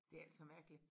Det altså mærkeligt